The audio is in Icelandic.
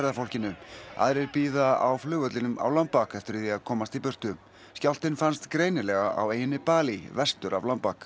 ferðafólkinu aðrir bíða á flugvellinum á eftir því að komast í burtu skjálftinn fannst greinilega á eyjunni Balí vestur af